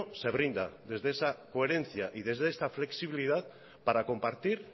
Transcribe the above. se brinda desde esa coherencia y desde esa flexibilidad para compartir